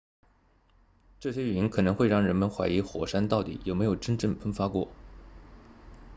这些云可能会让人们怀疑火山到底有没有真正喷发过